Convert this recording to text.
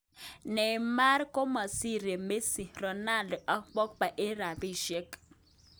Neymar komasire Messi, Ronaldo ak pogba en rapishiek